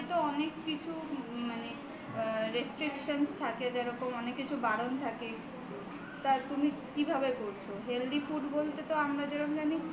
diet এত অনেক কিছু restriction থাকে যেমন অনেক কিছু বারণ থাকে তা তুমি কিভাবে করছ healthy food বলতে আমরা যেরম জানি